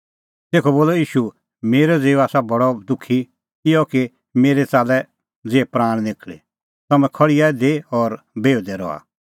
तेखअ बोलअ ईशू मेरअ ज़िऊ आसा बडअ दुखी इहअ कि मेरै च़ाल्लै ज़िहै प्राण निखल़ी तम्हैं खल़्हिया इधी और बिहुदै रहा